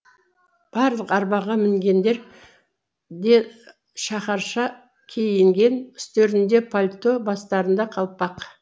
барлық арбаға мінгендер де шаһарша киінген үстерінде пальто бастарында қалпақ